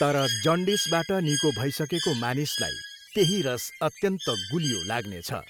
तर जन्डिसबाट निको भइसकेको मानिसलाई त्यही रस अत्यन्त गुलियो लाग्नेछ।